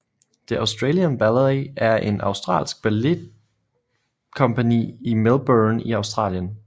The Australian Ballet er et australsk balletkompagni i Melbourne i Australien